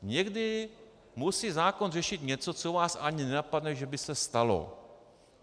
Někdy musí zákon řešit něco, co vás ani nenapadne, že by se stalo.